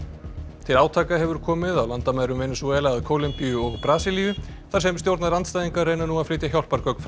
til átaka hefur komið á landamærum Venesúela að Kólumbíu og Brasilíu þar sem stjórnarandstæðingar reyna nú að flytja hjálpargögn frá